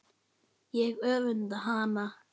Ég öfunda hana.